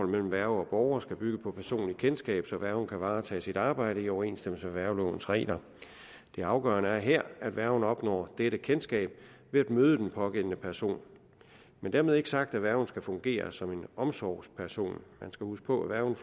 mellem værge og borger skal bygge på personligt kendskab så værgen kan varetage sit arbejde i overensstemmelse med værgelovens regler det afgørende er her at værgen opnår dette kendskab ved at møde den pågældende person dermed er ikke sagt at værgen skal fungere som en omsorgsperson man skal huske på at værgen